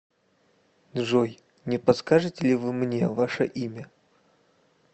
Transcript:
джой не подскажете ли вы мне ваше имя